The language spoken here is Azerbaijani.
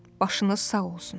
Başınız sağ olsun.